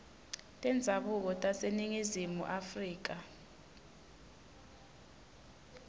tendzabuko taseningizimu afrika